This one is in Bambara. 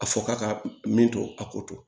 A fɔ k'a ka min to a ko